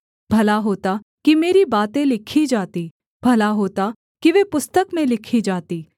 भला होता कि मेरी बातें लिखी जातीं भला होता कि वे पुस्तक में लिखी जातीं